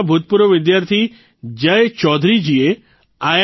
ના ભૂતપૂર્વ વિદ્યાર્થી જય ચૌધરીજીએ આઇ